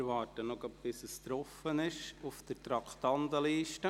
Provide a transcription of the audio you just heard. Wir warten noch, bis es auf dem Display erscheint.